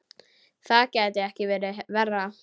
Það gæti ekki verið verra.